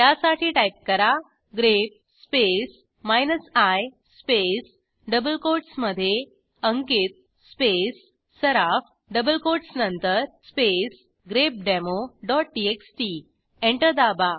त्यासाठी टाईप करा grep space minus I spaceडबल कोटसमधे Ankit space Saraf double quotes नंतर स्पेस grepdemoटीएक्सटी एंटर दाबा